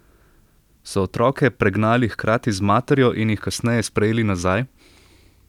So otroke pregnali hkrati z materjo in jih kasneje sprejeli nazaj?